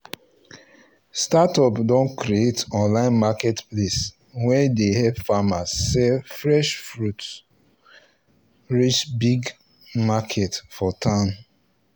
startup don create online marketplace wey dey help farmers sell fresh foods fresh foods reach big market for town